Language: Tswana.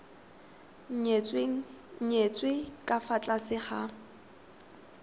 nyetswe ka fa tlase ga